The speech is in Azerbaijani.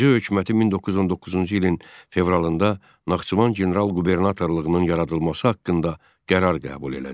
AXC hökuməti 1919-cu ilin fevralında Naxçıvan general qubernatorluğunun yaradılması haqqında qərar qəbul elədi.